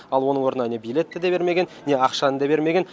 ал оның орнына не билетті де бермеген не ақшаны да бермеген